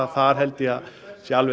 þar held ég að sé alveg